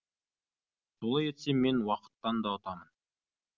солай етсем мен уақыттан да ұтамын